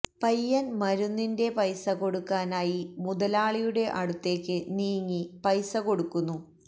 പയ്യൻ മരുന്നിന്റെ പൈസ കൊടുക്കാനായി മുതലാളിയുടെ അടുത്തേക്ക് നീങ്ങി പൈസ കൊടുക്കുന്നു